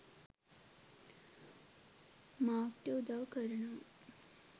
මාර්ක්ට උදව් කරනවා.